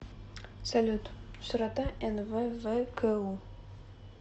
салют широта нввку